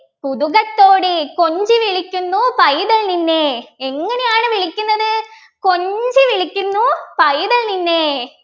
കുതുകത്തോടെ കൊഞ്ചിവിളിക്കുന്നു പൈതൽ നിന്നെ എങ്ങനെയാണ് വിളിക്കുന്നത് കൊഞ്ചിവിളിക്കുന്നു പൈതൽ നിന്നെ